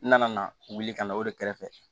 N nana wuli ka na o de kɛrɛfɛ